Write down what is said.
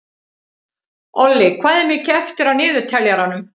Olli, hvað er mikið eftir af niðurteljaranum?